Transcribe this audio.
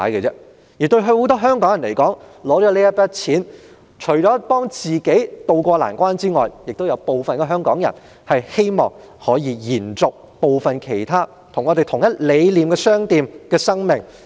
對於很多香港人來說，這筆錢除可幫助自己渡過難關之外，亦有部分香港人希望可以用來延續部分與我們理念相同的商店的生命。